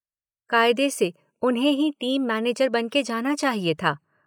कायदे से उन्हें ही टीम मैनेजर बन के जाना चाहिए था।